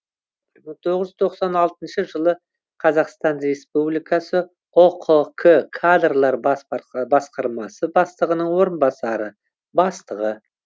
мың тоғыз жүз тоқсан алты жылы қазақстан республикасының ұқк кадрлар бас басқармасы бастығының орынбасары бастығы